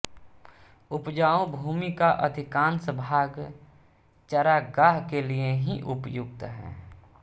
उपजाऊ भूमि का अधिकांश भाग चरागाह के लिए ही उपयुक्त है